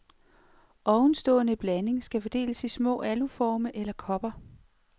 Ovenstående blanding skal fordeles i små aluforme eller kopper.